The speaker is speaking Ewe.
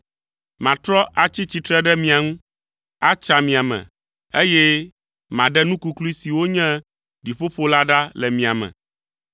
Matrɔ atsi tsitre ɖe mia ŋu, atsra mia me, eye maɖe nu kuklui siwo nye ɖiƒoƒo la ɖa le mia me.